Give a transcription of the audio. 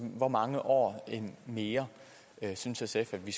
hvor mange år mere synes sf at vi